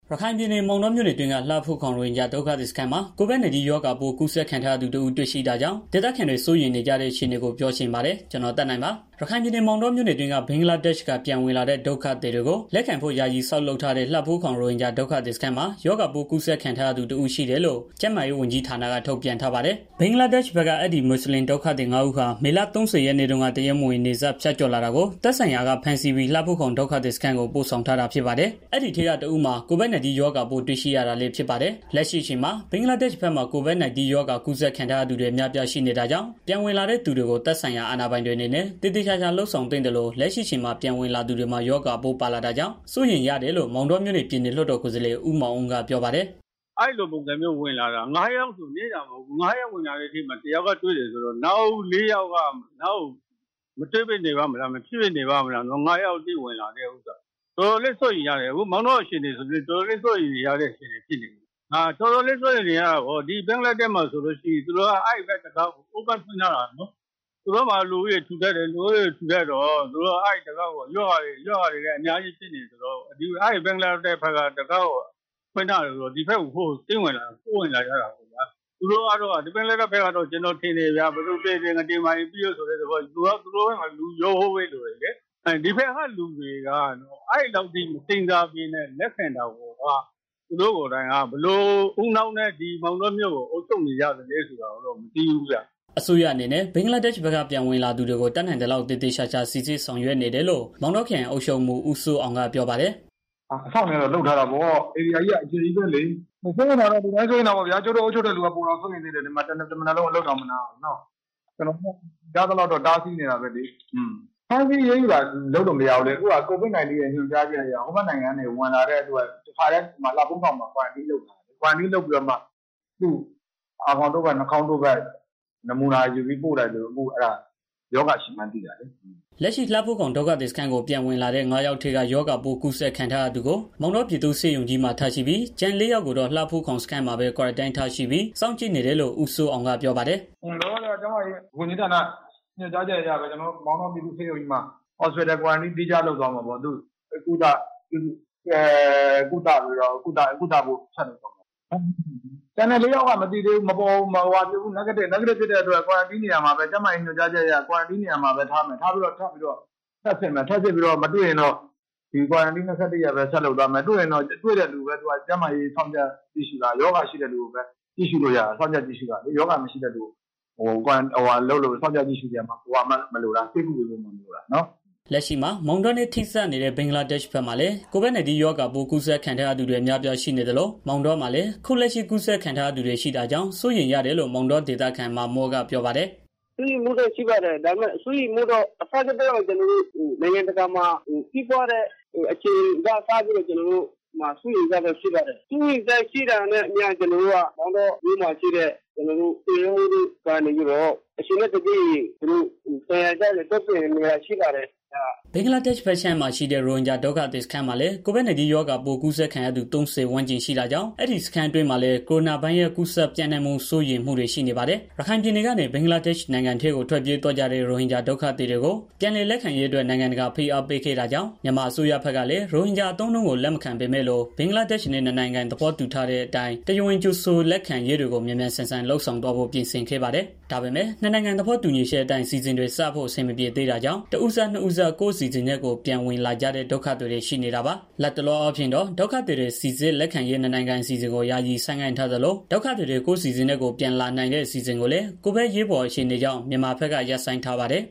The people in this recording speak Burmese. ရခိုင်ပြည်နယ် မောင်တောမြို့နယ်အတွင်းက လှဖိုးခေါင် ရိုဟင်ဂျာဒုက္ခသည်စခန်းမှာ COVID-19 ရောဂါပိုး ကူးစက်ခံထားရသူ တစ်ဦးတွေ့ရှိတာကြောင့် ဒေသခံတွေ စိုးရိမ်နေကြတဲ့ အခြေအနေကို ဗွီအိုအေမြန်မာပိုင်း သတင်းထောက် ကိုသက်နိုင်က ပြောပြပေးပါမယ်။ ရခိုင်ပြည်နယ် မောင်တောမြို့နယ်အတွင်းက ဘင်္ဂလားဒေ့ရှ်က ပြန်ဝင်လာတဲ့ ဒုက္ခသည်တွေကို လက်ခံဖို့ ယာယီဆောက် လုပ်ထားတဲ့ လှဖိုးခေါင် ရိုဟင်ဂျာ ဒုက္ခသည်စခန်းမှာ ရောဂါပိုးကူးစက်ခံထားသူ တစ်ဦးရှိတယ်လို့ ကျန်းမာရေးဝန်ကြီးက ထုတ်ပြန်ထားပါတယ်။ ဘင်္ဂလားဒေရှ့်ဘက်က အဲဒီ မွတ်ဆလင်ဒုက္ခသည် ငါး ဦးဟာ မေလ ၃၀ ရက်နေ့တုန်းက တရားမဝင် နယ်စပ်ဖြတ်ကျော်လာတာကို သက်ဆိုင်ရာ ဖမ်းဆီးပြီး လှဖိုးခေါင်ဒုက္ခသည်စခန်းကို ပို့ဆောင်ထားတာဖြစ်ပါတယ်။ အဲဒီထဲက တစ်ဦးမှာ COVID - 19 ရောဂါပိုးတွေ့ရှိရတာလည်းဖြစ်ပါတယ်။ လက်ရှိအချိန်မှာ ဘင်္ဂလားဒေ့ရှ်ဘက်မှာ COVID -19 ရောဂါကူးစက်ခံထားရသူတွေ အများအပြားရှိနေတာကြောင့် ပြန်ဝင်လာတဲ့ သူတွေကို သက်ဆိုင်ရာအဏာပိုင်တွေအနေနဲ့ သေသေချာချာ လုပ်ဆောင်သင့်သလို လက်ရှိအချိန်မှာ ပြန်ဝင်လာသူတွေမှာ ရောဂါပိုး ပါလာတာကြောင့် စိုးရိမ်ရတယ်လို့ မောင်တောမြို့နယ် ပြည်နယ်လွှတ်တော်ကိုယ်စားလှယ် ဦးမောင်အုန်းက ပြောပါတယ်။ "ငါးယောက်ဝင်လာတာမှာ တစ်ယောက်တွေ့တယ်ဆိုတော့ နောက်လေးယောက်ကတော့ မတွေ့ဘဲ နေပါ့မလား။ တော်တော်လေး စိုးရိမ်ရတယ်။ အခုမောင်တော အခြေအနေဆိုရင် တော်တော်လေး စိုးရိမ်ရတဲ့ အခြေအနေ ဖြစ်နေပြီ။ ဘင်္ဂလားဒေ့ရှ်မှာဆိုရင် တံခါးကို ဖွင့်ထားတာ။ သူတို့မှာ လူဦးရေ ထူတပ်တယ် လူဦးရေ ထူထပ်တော့ သူတို့က အဲဒီတံခါးကို ရောဂါတွေလည်း အများကြီး ကူးစက်ခံနေရတာဆိုတော့ ဒီဘက်ကို ခိုးဝင်လာကြတာ။ သူတို့ဘက်ကတော့ ဘယ်သူသေသေငတေမာရင် ပြီးရော ဆိုပြီး သူတို့ဘက်မှာ လူလျှော့ဖို့ ပဲလိုတယ်လေ ဒီဘက်ကလူတွေက အဲလောက်ထိမစဉ်းစားဘဲ လက်ခံတာကိုယ်တိုင်က ဘယ်လိုဦးနှောက်နဲ့ ဒီမောင်တောမြို့ကို အုပ်ချုပ်နေကြတာလဲဆိုတာကိုတော့ မသိဘူးဗျ။" အစိုးရအနေနဲ့ ဘင်္ဂလားဒေ့ရှ်ဘက်က ပြန်ဝင်လာသူတွေကို တက်နိုင်သလောက် သေသေချာချာ စိစစ်ဆောင်ရွက် နေတယ်လို့ မောင်တောခရိုင် အုပ်ချုပ်ရေးမှူး ဦးစိုးအောင်က ပြောပါတယ်။ "အစောင့်တွေကတော့ လုပ်ထားတာပဲ ဧရိယာကြီးက အကျယ်ကြီးပဲလေ။ စိုးရိမ်တာကတော့ ကျုပ်တို့ အုပ်ချုပ်တဲ့ သူတွေက ပိုပြီးတော့ စိုးရိမ်တာပေါ့နော်။ဒီမှာ တမနက်လုံး မနားရဘူးလုပ်နေတာနော်။ ကျနော်တို့လည်း နိုင်သလောက်တော့ တားစီးနေတာပဲလေ။ ဖမ်းဆီးအရေးယူတာတွေ လုပ်လို့မရဘူးလေ အခုက COVID -19 ညွန်ကြားချက်အရ ပြန်ဝင်လာတဲ့ သူတွေကို လှဖိုးခေါင်မှာ quarantine လုပ်ပြီးတော့ သူတို့ရဲ့ အာခေါင်တို့ပတ် နှာခေါင်းတို့ပတ်တို့ယူပြီး စစ်ဆေးတော့မှာ ရောဂါကူးစက်ခံထားရတာကို သိတာလေ။" လက်ရှိ လှဖိုးခေါင်ဒုက္ခသည်စခန်းကို ပြန်ဝင်လာတဲ့ ငါးယောက်ထဲက ရောဂါပိုးကူးစက်ခံထားရသူကို မောင်တောပြည်သူ့ဆေးရုံကြီးမှာ ထားရှိပြီး ကျန် လေးယောက်ကိုတော့ လှဖိုးခေါင် စခန်းမှာပဲ quarantine ထားရှိပြီး စောင့်ကြည့်နေတယ်လို့ ဦးစိုးအောင်က ဆက်ပြောပါတယ်။ "လောလောဆယ်မှာတော့ ကျန်းမာရေး ဝန်ကြီးဌာနရဲ့ ညွှန်ကြားချက်အရ မောင်တောပြည့်သူ့ဆေးရုံကြီးမှာ quarantine သီးခြားလုပ်သွားပြီးတော့ ဆေးကုသဖို့ ဆက်လုပ်သွားမှာပေါ့။ ကျန်တဲ့လေးယောက်ကတော့ negative ဖြစ်တဲ့အတွက် ကျန်းမာရေးဝန်ကြီးဌာနရဲ့ ညွန်ကြားချက်အရ quarantine နေရာမှာပဲ ထားပြီးတော့ ထပ်စစ်မယ်၊ ထပ်စစ်လို့မတွေ့ရင်တော့ quarantine ၂၁ ရက်ပဲ ထပ်လုပ်သွားမယ်။ ရောဂါရှိတဲ့ လူကိုပဲ စောင့်ကြည့်လို့ရတာလေ မရှိတဲ့သူတွေကိုတော့ စောင့်ကြည့်ပြီး ဆေးကုဖို့မှ မလိုတာနော်။" လက်ရှိအချိန်မှာမောင်တောနဲ့ ထိစပ်နေတဲ့ ဘင်္ဂလားဒေ့ရှ်ဘက်မှာလည်း COVID-19 ရောဂါပိုးကူးစက်ခံ ထားရသူတွေ အများအပြားရှိနေသလို မောင်တောမှာလည်း အခုလက်ရှိ ကူးစက်ခံထားရသူတွေ့ရှိတာကြောင့် စိုးရိမ်ရတယ်လို့ မောင်တောဒေသခံ မာမွတ်ကပြောပါတယ်။ "စိုးရိမ်မှုတော့ ရှိပါတယ်။ နိုင်ငံတကာမှာ စဖြစ်ကတည်းက ကျနော်တို့က စိုးရိမ်နေကြတာပါ။ မောင်တော်မြို့မှာတော့ ထွေအုပ်တို့က ဘယ်လိုနေထိုင်ရမယ် မိသားစုနဲ့ ဘယ်လိုနေထိုင်ရမလဲ ဆိုတာကို အချိန်နဲ့ တပြေးညီ လုပ်ဆောင်ပေးနေတာတွေ ရှိပါတယ်။" ဘင်္ဂလားဒေ့ရ်ှဘက်ခြမ်းရှိနေတဲ့ ရိုဟင်ဂျာဒုက္ခသည်စခန်းထဲမှာလည်း COVID-19 ရောဂါပိုးကူးစက်ခံရသူ ၃၀ ဝန်းကျင် ရှိနေတာကြောင့် အဲဒီစခန်းတွေအတွင်းမှာလည်း ကိုရိုနာဗိုင်းရပ်ပိုး ကူးစက်ပျံ့နှံ့မှု စိုးရိမ်မှုတွေရှိနေပါတယ်။ ရခိုင်ပြည်နယ်ကနေ ဘင်္ဂလားဒေ့ရ်ှနိုင်ငံထဲ ထွက်ပြေးသွားကြတဲ့ ရိုဟင်ဂျာ ဒုက္ခသည်တွေကို ပြန်လည်လက်ခံရေးအတွက် နိုင်ငံတကာက ဖိအားပေးခဲ့တာကြောင့် မြန်မာအစိုးရဘက်ကလည်း ရိုဟင်ဂျာအသုံးအနှုန်း လက်မခံပေမဲ့လို့ ဘင်္ဂလားဒေ့ရ်ှနဲ့ သဘောတူထားတဲ့အတိုင်း တရားဝင် ကြိုဆိုလက်ခံရေးတွေကို မြန်မြန်ဆန်ဆန်လုပ်သွားဖို့ ပြင်ဆင်ခဲ့ပါတယ်။ ဒါပေမဲ့ နှစ်နိုင်ငံ သဘောတူညီချက်အတိုင်း အစီအစဉ်တွေစဖို့ အဆင်မပြေသေးတာကြောင့် တစ်ဦးစ၊ နှစ်ဦးစ ကိုယ့်အစီအစဉ်နဲ့ ကိုယ်ပြန်ဝင်လာကြတဲ့ ဒုက္ခသည်တွေ ရှိနေတာပါ။ လတ်တလောအားဖြင့်တော့ ဒုက္ခသည်တွေ စီစစ်လက်ခံရေး နှစ်နိုင်ငံအစီအစဉ်ကို ယာယီဆိုင်းငံထားသလို၊ ဒုက္ခသည်တွေ ကိုယ့်အစီအစဉ်နဲ့ ကိုယ်ပြန်လာနိုင်တဲ့ အစီအစဉ်ကိုလည်း ကိုဗစ်အရေးပေါ်အခြေနေကြောင့် မြန်မာဘက်က ရပ်ဆိုင်းထားပါတယ်